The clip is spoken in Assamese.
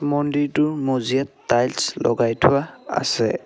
মন্দিৰটোৰ মজিয়াত টাইলছ লগাই থোৱা আছে।